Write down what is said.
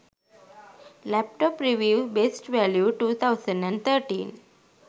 laptop reviews best value 2013